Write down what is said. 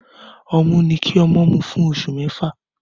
Ọmú ni kí ọmọ mú fún oṣù mẹ́fà